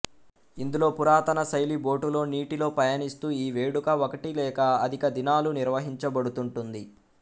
ఇందులో పురాతన శైలి బోటులో నీటిలో పయనిస్తూ ఈ వేడుక ఒకటి లేక అధికదినాలు నిర్వహించబడుతుంటుంది